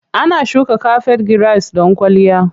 Ana shuka kafet giras don kwalliya.